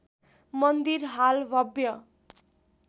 मन्दिर हाल भव्य